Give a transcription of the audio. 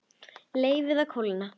Leyfið að kólna.